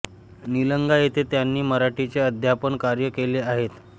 निलंगा येथे त्यांनी मराठीचे अध्यापन कार्य केले आहेत